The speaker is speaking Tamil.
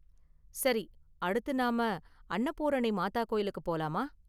சரி, அடுத்து நாம அன்னபூரணி மாதா கோயிலுக்கு போலாமா?